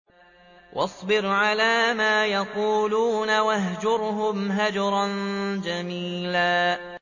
وَاصْبِرْ عَلَىٰ مَا يَقُولُونَ وَاهْجُرْهُمْ هَجْرًا جَمِيلًا